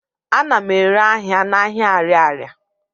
Ana m ere ahịa n'ahịa Arịarịa.